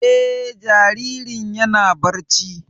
Eh, jaririn yana barci